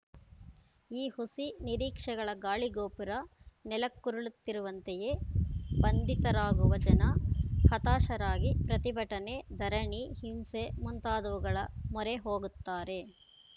ಈ ಹುಸಿ ನಿರೀಕ್ಷೆಗಳ ಗಾಳಿ ಗೋಪುರ ನೆಲಕ್ಕುರುಳುತ್ತಿರುವಂತೆಯೇ ಬಂತಿತರಾಗುವ ಜನ ಹತಾಶರಾಗಿ ಪ್ರತಿಭಟನೆ ಧರಣಿ ಹಿಂಸೆ ಮುಂತಾದವುಗಳ ಮೊರೆ ಹೋಗುತ್ತಾರೆ